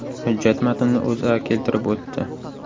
Hujjat matnini O‘zA keltirib o‘tdi .